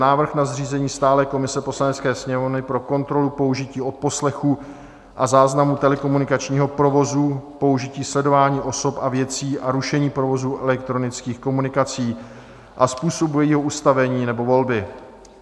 Návrh na zřízení stálé komise Poslanecké sněmovny pro kontrolu použití odposlechu a záznamu telekomunikačního provozu, použití sledování osob a věcí a rušení provozu elektronických komunikací a způsobu jejího ustavení nebo volby